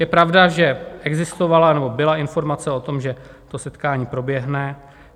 Je pravda, že existovala, nebo byla informace o tom, že to setkání proběhne.